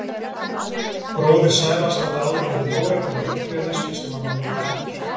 Bróðir Sævars hafði áður verið í óreglu og eiturlyfjaneyslu sem hann var nú hættur.